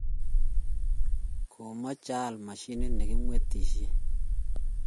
kamoche aal mashinit nekemwetishen.